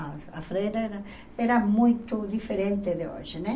A a freira era era muito diferente de hoje, né?